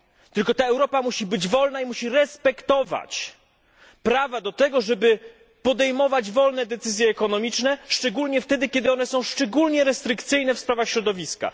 Tylko ta Europa musi być wolna, musi respektować prawo do tego, żeby podejmować wolne decyzje ekonomiczne, szczególnie wtedy, kiedy są one bardzo restrykcyjne w sprawach środowiska.